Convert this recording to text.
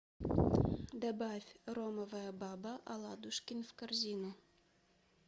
добавь ромовая баба аладушкин в корзину